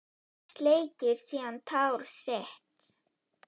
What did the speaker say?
Sleikir síðan tár sitt.